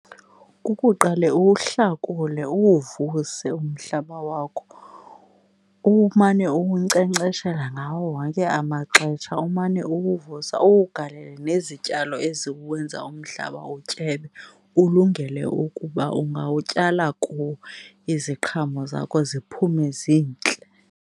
Kukuqale uwuhlakule uwuvuse umhlaba wakho umane uwunkcenkceshela ngawo wonke amaxesha, umane uwuvusa uwugalele nezityalo eziwenza umhlaba utyebe ulungele ukuba ungawutyala kuwo iziqhamo zakho ziphume zintle.